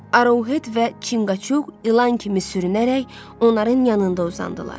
Arohet və Çinqaçuq ilan kimi sürünərək onların yanında uzandılar.